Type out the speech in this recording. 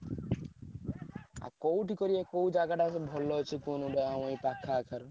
ହଁ କୋଉଠି କରିଆ କୋଉ ଜାଗାଟା କଲେ ଭଲ ଅଛି କୁହ ନହେଲେ ଆମ ଏଇ ପାଖ ଆଖରେ।